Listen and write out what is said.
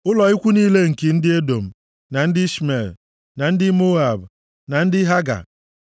ụlọ ikwu niile nke ndị Edọm, na ndị Ishmel, na ndị Moab, na ndị Haga,